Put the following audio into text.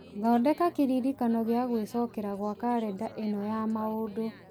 thondeka kĩririkano kĩa gwĩcokera gwa karenda ĩno ya maũndũ